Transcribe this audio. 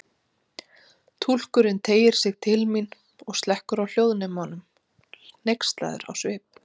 Túlkurinn teygir sig til mín og slekkur á hljóðnemanum, hneykslaður á svip.